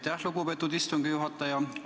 Aitäh, lugupeetud istungi juhataja!